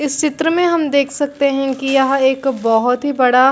इस चित्र में हम देख सकते है की यह एक बहुत ही बड़ा--